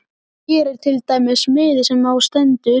Hér er til dæmis miði sem á stendur